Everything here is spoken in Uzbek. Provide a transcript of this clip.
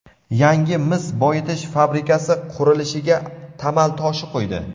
yangi mis boyitish fabrikasi qurilishiga tamal toshi qo‘ydi.